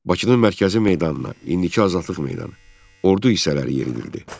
Bakının mərkəzi meydanına, indiki Azadlıq meydanı, ordu hissələri yeridildi.